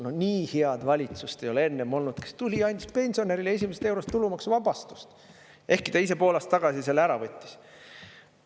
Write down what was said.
No nii head valitsust ei ole enne olnud, kes tuli, andis pensionärile esimesest eurost tulumaksuvabastust – ehkki ta ise pool aastat tagasi selle ära võttis.